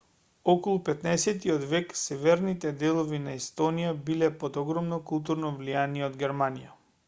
околу 15-от век северните делови на естонија биле под огромно културно влијание од германија